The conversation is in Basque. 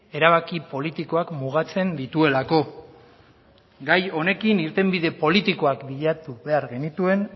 erabaki politikoak mugatzen dituelako gai honekin irtenbide politikoak bilatu behar genituen